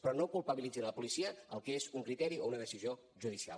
però no culpabilitzin la policia del que és un criteri o una decisió judicial